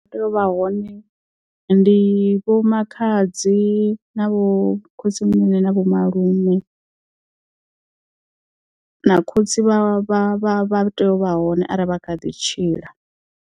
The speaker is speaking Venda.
U tea u vha hone ndi vho makhadzi na vho khotsimunene na vho malume na khotsi vha vha vha tea u vha hone arali vha kha ḓi tshila.